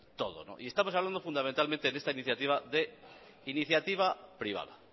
todo y estamos hablando fundamentalmente en esta iniciativa de iniciativa privada